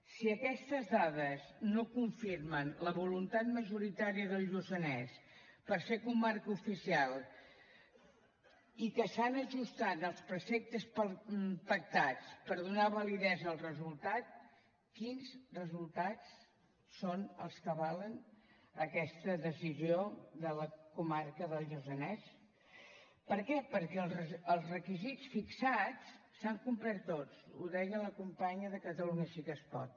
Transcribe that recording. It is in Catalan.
si aquestes dades no confirmen la voluntat majoritària del lluçanès per ser comarca oficial i que s’han ajustat als preceptes pactats per donar validesa al resultat quins resultats són els que avalen aquesta decisió de la comarca del lluçanès per què perquè els requisits fixats s’han complert tots ho deia la companya de catalunya sí que es pot